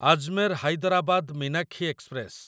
Ajmer Hyderabad Meenakshi express